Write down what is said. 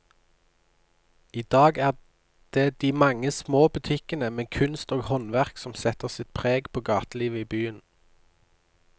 I dag er det de mange små butikkene med kunst og håndverk som setter sitt preg på gatelivet i byen.